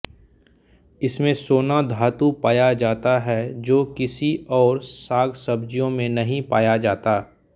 इसमें सोना धातु पाया जाता है जो किसी और सागसब्जियों में नहीं पाया जाता